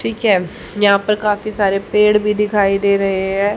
ठीक है यहां पर काफी सारे पेड़ भी दिखाई दे रहे है।